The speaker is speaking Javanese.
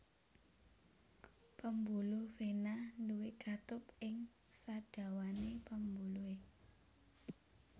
Pambuluh vena nduwé katup ing sadawané pambuluhé